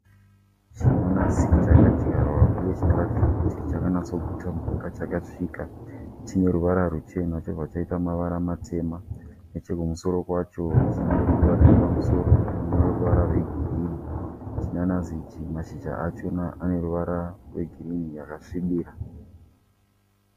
Chinanasi chakadyarwa uye chinoratidza kuti chakanatsoguta mvura chakasvika. Chinerurava ruchena chobva chaita mavara matema. Nechekumusoro kwacho chineruva riripamusoro rineruvara rwegirini. Chinanasi ichi mashizha achona aneruvara rwegirini yakasvibira.